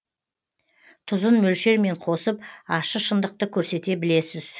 тұзын мөлшермен қосып ащы шындықты көрсете білесіз